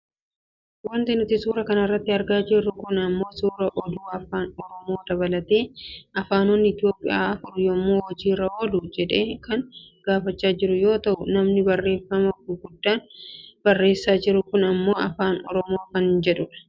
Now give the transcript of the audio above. Wanti suuraa kanarratti argaa jirru kun ammoo suuraa oduu afaaan oromoo dabalatee afaanonni Itoopiyaa afur yoom hojiirra oolu jedhee kan gaafachaa jiru yoo ta'u namni barreefama gurguddaan barreessaa jiru kun ammoo Afaan oromoo kan jedhudha.